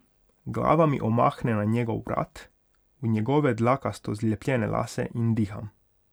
Glava mi omahne na njegov vrat, v njegove dlakasto zlepljene lase in diham.